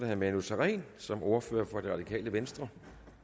herre manu sareen som ordfører for det radikale venstre